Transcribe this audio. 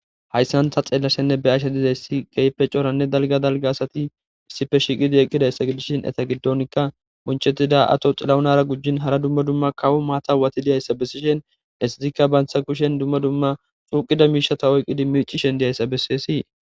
hayssanta xeellashenne be ashe dizayssi geype coranne dalga dalga asati issife shiiqidi eqqidayssa gidishin eta giddonkka munchettida ato xilaunara gujjin hara dumma dumma kawu maata wati diyayssa bessishen essitikka baantha kushen dumma dumma xuuqida miishata oyqqidi miicishen diyayssa besseesii